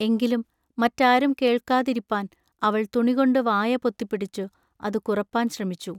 എങ്കിലും മറ്റാരും കെൾക്കാതിരിപ്പാൻ അവൾ തുണികൊണ്ടു വായ പൊത്തിപ്പിടിച്ചു അതു കുറപ്പാൻ ശ്രമിച്ചു.